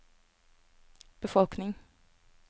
befolkning